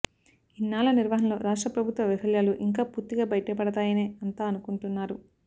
ఇన్నాళ్ల నిర్వహణలో రాష్ట్ర ప్రభుత్వ వైఫల్యాలు ఇంకా పూర్తిగా బయటపడతాయనే అంతా అనుకుంటున్నారు